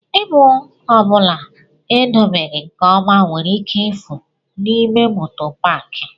Ịbụ ọ bụla edobeghi nke ọma nwere ike ifu n'ime moto paaki.